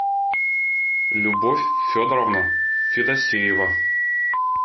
любовь федоровна федосеева